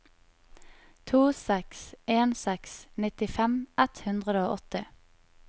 to seks en seks nittifem ett hundre og åtti